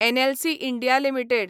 NLC India limited